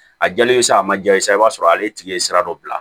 A jalen sa a ma ja i ye sa i b'a sɔrɔ ale tigi ye sira dɔ bila